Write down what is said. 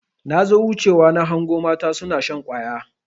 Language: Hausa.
Nazo wuce wa nahango mata suna shan ƙwaya.